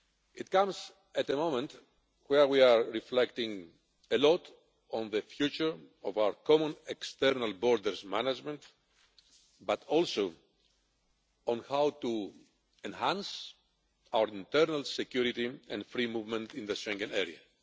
It comes at the moment where we are reflecting a lot on the future of our common external border management but also on how to enhance our internal security and free movement in the Schengen Area.